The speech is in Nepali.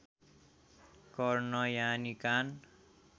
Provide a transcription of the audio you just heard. कर्ण यानि कान